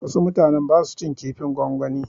Wasu mutanen ba su cin kifin gongwani.